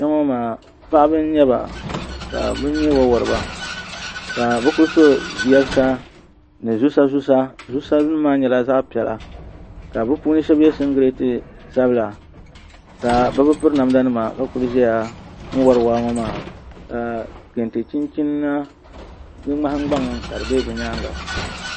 kpɛŋɔ maa paɣiba n-nyɛ ba ka bɛ nyɛ wawariba ka bɛ ku so yabisa ni zusazusa zusanima maa nyɛla zaɣ' piɛla ka bɛ puuni shɛba ye singileeti sabila ka bɛ bi piri namdanima ka kuli zaya n-wari waa ŋɔ maa ka kente chinchina ŋmahingbaŋ ka di be bɛ nyaaŋa